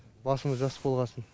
басымыз жас болғасын